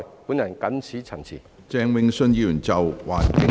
本人謹此陳辭。